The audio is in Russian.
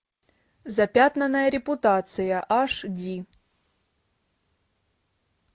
запятнанная репутация аш ди